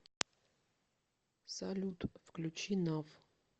салют включи нав